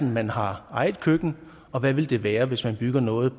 man har eget køkken og hvad vil den være hvis man bygger noget